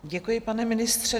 Děkuji, pane ministře.